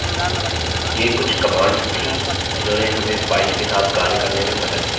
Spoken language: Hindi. ये कुछ commands थी जिन्होंने हमें files के साथ कार्य करने में मदद की